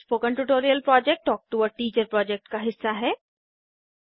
spoken tutorial project talk to a teacher project का हिस्सा है